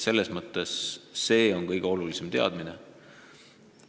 See on see kõige olulisem teadmine.